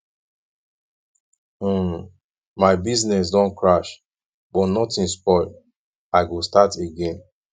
um my business don crash but nothing spoil i go start again